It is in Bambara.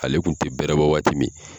Ale kun te bɛrɛbɔ waati min